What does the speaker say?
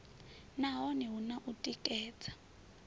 nahone hu na u tikedza